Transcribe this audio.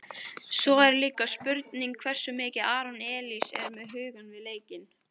Svo er líka spurning hversu mikið Aron Elís er með hugann við leikinn?